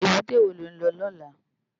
Ébùté wó ló n lò lòlá?